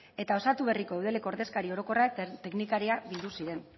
eta osatu berriko udaleko ordezkari orokorrak teknikariak bildu ziren